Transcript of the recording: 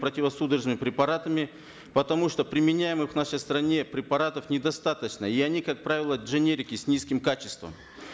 противосудорожными препаратами потому что применяемых в нашей стране препаратов недостаточно и они как правило дженерики с низким качеством